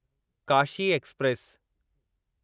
Kashi express